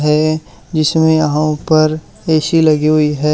है जिसमें यहां ऊपर ए_सी लगी हुई है।